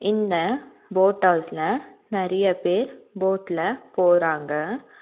இந்த போட் ஹவுஸ்ல நெறைய பேர் போட்ல போறாங்க.